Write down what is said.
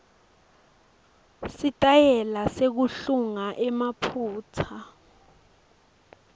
sitayela nekuhlunga emaphutsa